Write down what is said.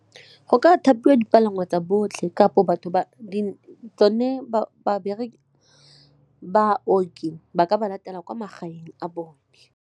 Go ka thapiwa dipalangwa tsa botlhe kapo baoki ba ka ba latela kwa magaeng a bone.